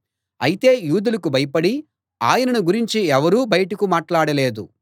అయితే యూదులకు భయపడి ఆయనను గురించి ఎవరూ బయటకు మాట్లాడలేదు